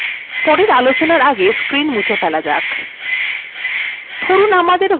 পরের আলোচনার আগে screen মুছে ফেলা যাক